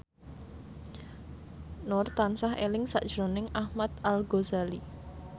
Nur tansah eling sakjroning Ahmad Al Ghazali